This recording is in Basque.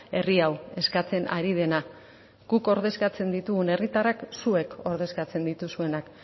herri hau eskatzen ari dena guk ordezkatzen ditugun herritarrak zuek ordezkatzen dituzuenak